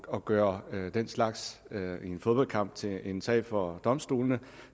at gøre en fodboldkamp til en sag for domstolene